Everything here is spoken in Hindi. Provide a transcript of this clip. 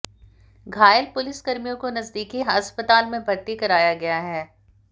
घायल पुलिसकर्मियों को नजदीकी अस्पताल में भर्ती कराया गया है